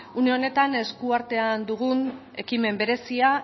une honetan eskuartean dugun ekimen berezia